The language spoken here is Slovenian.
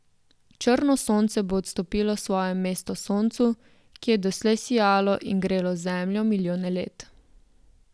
Črno sonce bo odstopilo svoje mestu soncu, ki je doslej sijalo in grelo zemljo milijone let.